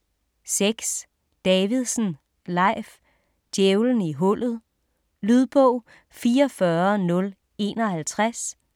6. Davidsen, Leif: Djævelen i hullet Lydbog 44051